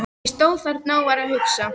Ég stóð þarna og var að hugsa.